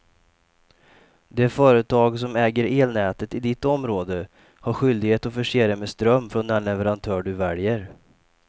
Det företag som äger elnätet i ditt område har skyldighet att förse dig med ström från den leverantör du väljer.